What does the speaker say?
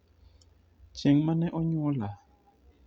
chieng' mane onyuola?